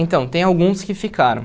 Então, tem alguns que ficaram.